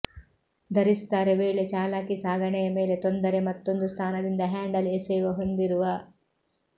ಧರಿಸುತ್ತಾರೆ ವೇಳೆ ಚಾಲಾಕಿ ಸಾಗಣೆಯ ಮೇಲೆ ತೊಂದರೆ ಮತ್ತೊಂದು ಸ್ಥಾನದಿಂದ ಹ್ಯಾಂಡಲ್ ಎಸೆಯುವ ಹೊಂದಿರುವ